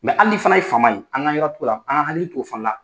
Mɛ hali ni fana ye faama ye, an k'an yɔrɔ , t'o la an hakili t'o fana la.